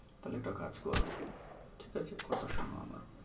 তালে একটা কাজ করো, ঠিক আছে? কথা শোনো আমার।